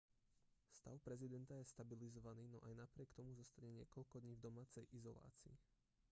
stav prezidenta je stabilizovaný no aj napriek tomu zostane niekoľko dní v domácej izolácii